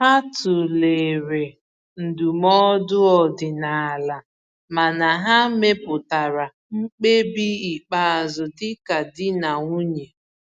Ha tụlere ndụmọdụ ọdịnala, mana ha mepụtara mkpebi ikpeazụ dịka di na nwunye.